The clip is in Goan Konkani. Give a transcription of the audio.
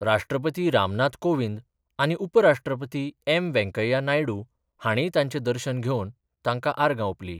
राष्ट्रपती रामनाथ कोविंद आनी उपराष्ट्रपती एम वेंकय्या नायडू हांणीय तांचें दर्शन घेवन तांकां आर्गां ओपली.